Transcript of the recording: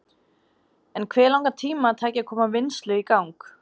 En hve langan tíma tæki að koma vinnslu í gang?